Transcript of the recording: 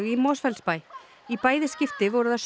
í Mosfellsbæ í bæði skipti voru það